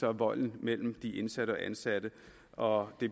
volden mellem de indsatte og ansatte og det